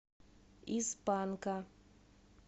из панка